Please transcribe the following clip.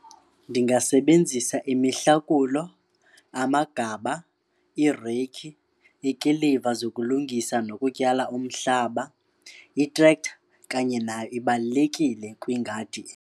Ndingasebenzisa imihlakulo, amagaba, ireyikhi, ikiliva zokulungisa nokutyala umhlaba. I-tractor kanye nayo ibalulekile kwingadi.